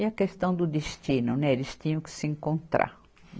E a questão do destino, né, eles tinham que se encontrar.